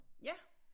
Ja